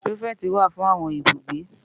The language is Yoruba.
Pirifèti wá fún áwòn ibúgbé